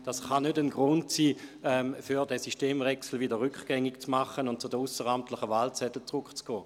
Es kann also kein Grund sein, den Systemwechsel rückgängig zu machen und zu den ausseramtlichen Wahlzetteln zurückzukehren.